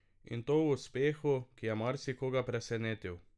In to v uspehu, ki je marsikoga presenetil.